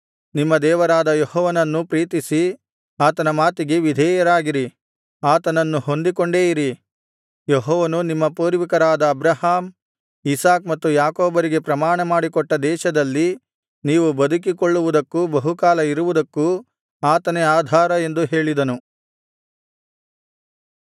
ನಿಮ್ಮ ದೇವರಾದ ಯೆಹೋವನನ್ನು ಪ್ರೀತಿಸಿ ಆತನ ಮಾತಿಗೆ ವಿಧೇಯರಾಗಿರಿ ಆತನನ್ನು ಹೊಂದಿಕೊಂಡೇ ಇರಿ ಯೆಹೋವನು ನಿಮ್ಮ ಪೂರ್ವಿಕರಾದ ಅಬ್ರಹಾಮ್ ಇಸಾಕ್ ಮತ್ತು ಯಾಕೋಬರಿಗೆ ಪ್ರಮಾಣ ಮಾಡಿಕೊಟ್ಟ ದೇಶದಲ್ಲಿ ನೀವು ಬದುಕಿಕೊಳ್ಳುವುದಕ್ಕೂ ಬಹುಕಾಲ ಇರುವುದಕ್ಕೂ ಆತನೇ ಆಧಾರ ಎಂದು ಹೇಳಿದನು